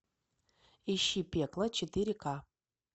ищи пекло четыре ка